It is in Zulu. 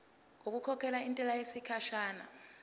ngokukhokhela intela yesikhashana